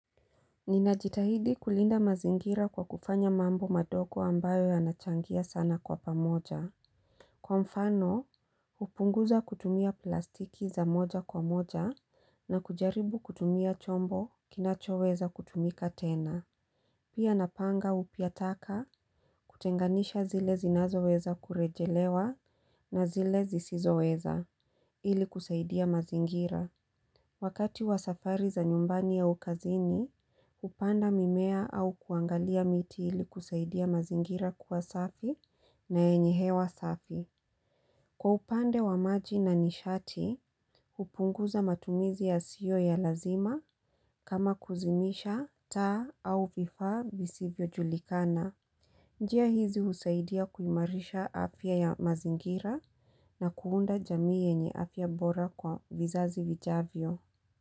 Ninajitahidi kulinda mazingira kwa kufanya mambo madogo ambayo yanachangia sana kwa pamoja. Kwa mfano, hupunguza kutumia plastiki za moja kwa moja na kujaribu kutumia chombo kinacho weza kutumika tena. Pia napanga upya taka kutenganisha zile zinazo weza kurejelewa na zile zisizo weza, ili kusaidia mazingira. Wakati wa safari za nyumbani au kazini, hupanda mimea au kuangalia miti ili kusaidia mazingira kuwa safi na yenye hewa safi. Kwa upande wa maji na nishati, hupunguza matumizi ya sio ya lazima kama kuzimisha taa au vifa visivyo julikana. Njia hizi husaidia kuimarisha afya ya mazingira na kuunda jamii yenye afya bora kwa vizazi vijavyo.